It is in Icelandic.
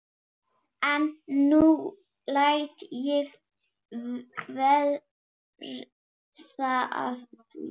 En nú læt ég verða af því.